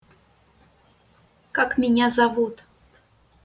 как меня зовут